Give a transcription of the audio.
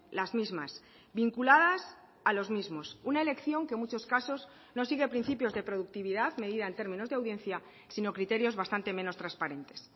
las mismas vinculadas a los mismos una elección que en muchos casos no siguen principios de productividad medida en términos de audiencia sino criterios bastante menos transparentes